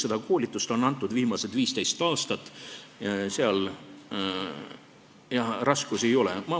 Seda koolitust on antud viimased 15 aastat, seal raskusi ei ole.